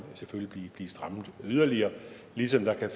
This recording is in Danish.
blive strammet yderligere ligesom der kan